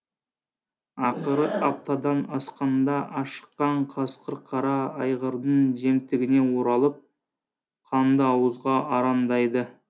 ақыры аптадан асқанда ашыққан қасқыр қара айғырдың жемтігіне оралып қандыауызға арандайды